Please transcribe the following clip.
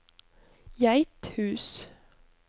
Geithus